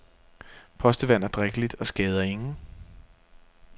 Postevand er drikkeligt og skader ingen.